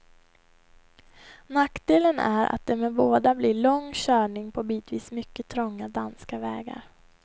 Nackdelen är att det med båda blir lång körning på bitvis mycket trånga danska vägar.